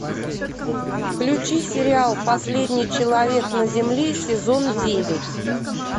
включи сериал последний человек на земле сезон девять